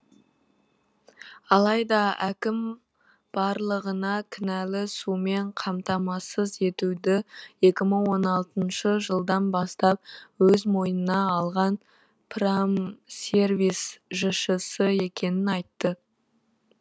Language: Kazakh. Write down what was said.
алайда әкім барлығына кінәлі сумен қамтамассыз етуді екі мың он алтыншы жылдан бастап өз мойынына алған промсервис жшс екенін айтты